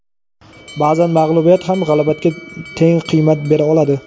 ba’zan mag‘lubiyat ham g‘alabaga teng qiymat bera oladi.